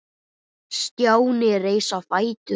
Stjáni reis á fætur.